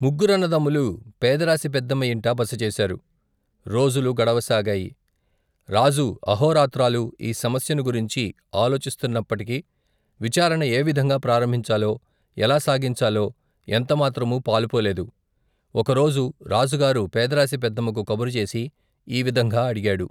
ముగ్గురన్నదమ్ములు పేదరాసిపెద్దమ్మ యింట బసచేశారు రోజులు గడవసాగాయి రాజు అహోరాత్రాలు ఈ సమస్యను గురించి ఆలోచిస్తున్నప్పటికి విచారణ ఏవిధంగా ప్రారంభించాలో ఎలా సాగించాలో ఎంత మాత్రమూ పాలుపోలేదు ఒక రోజు రాజుగారు పేదరాసి పెద్దమ్మకు కబురుచేసి ఈవిధంగా అడిగాడు.